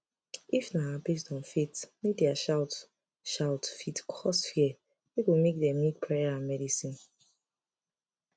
if na based on faith media shout shout fit cause fear wey go make dem need prayer and medicine